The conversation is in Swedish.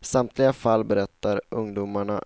I samtliga fall berättar ungdomarna